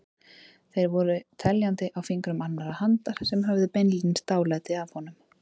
Þeir voru teljandi á fingrum annarrar handar sem höfðu beinlínis dálæti á honum.